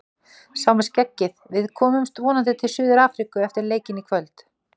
Sá með skeggið: Við komumst vonandi til Suður Afríku eftir leikinn í kvöld.